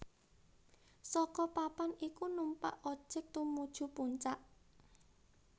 Saka papan iku numpak ojek tumuju puncak